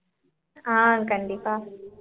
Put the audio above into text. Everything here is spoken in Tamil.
ஆஹ் கண்டிப்பா